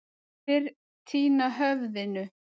Fyrr týna höfðinu.